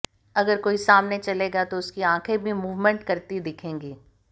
अगर कोई सामने चलेगा तो उसकी आंखें भी मूवमेंट करती दिखेंगी